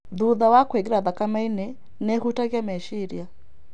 Thutha wa kũingĩra thakame-inĩ, nĩ ĩhutagia meciria.